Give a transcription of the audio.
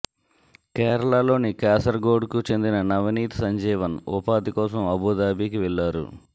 కేరళలోని కాసర్గొడ్కు చెందిన నవనీత్ సంజీవన్ ఉపాధి కోసం అబూదాబికి వెళ్లారు